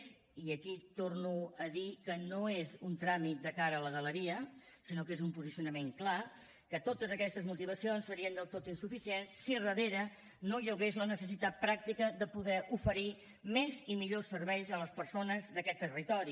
i aquí torno a dir que no és un tràmit de cara a la galeria sinó que és un posicionament clar que totes aquestes motivacions serien del tot insuficients si darrere no hi hagués la necessitat pràctica de poder oferir més i millors serveis a les persones d’aquest territori